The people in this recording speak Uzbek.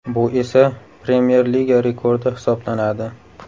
Bu esa Premyer Liga rekordi hisoblanadi.